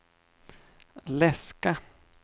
läska